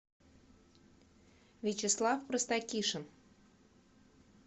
вячеслав простакишин